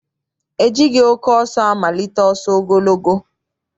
E jighị oke ọsọ amalite ọsọ ogologo.